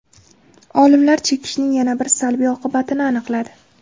Olimlar chekishning yana bir salbiy oqibatini aniqladi.